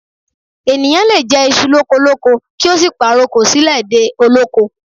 Ènìyàn lè jèṣu lókolóko kí ó sì pàrokò sílẹ̀ dé olóko